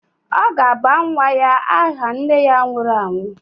Ọ ga-aba nwa ya aha nne ya nwụrụ anwụ.